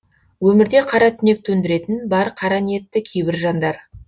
өмірде қара түнек төндіретін бар қара ниетті кейбір жандар